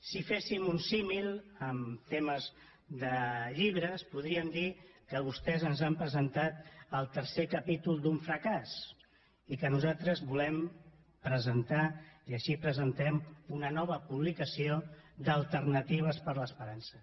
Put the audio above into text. si féssim un símil amb temes de llibres podríem dir que vostès ens han presentat el tercer capítol d’un fracàs i que nosaltres volem presentar i així la presentem una nova publicació d’alternatives per a l’esperança